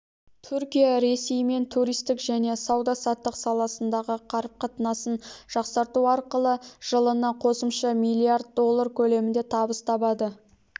түркия ресеймен туристік және сауда-саттық саласындағы қарым-қатынасын жақсарту арқылы жылына қосымша миллиард доллар көлемінде табыс табады